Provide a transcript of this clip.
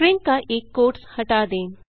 string का एक quotes हटा दें